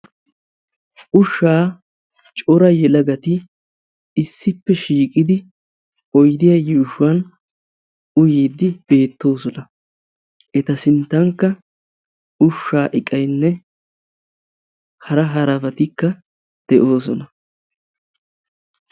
Ushshaa cora yelagati issippe shiiqidi oyidiya yuushshuwan uyiiddi beettoosona. Eta sinttankka ushshaa iqayinne hara harabatikka de'oosona.